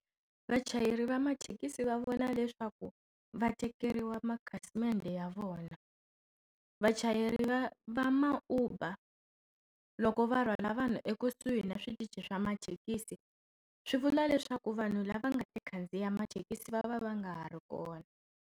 Vachayeri va mathekisi va vona leswaku va tekeriwa makhasimende ya vona. Vachayeri va va ma-Uber loko va rhwala vanhu ekusuhi na switichi swa mathekisi, swi vula leswaku vanhu lava nga ta khandziya mathekisi va va va nga ha ri kona.